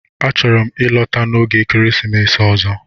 A chọrọ m ịlọta n'oge ekeresimesi ọzọ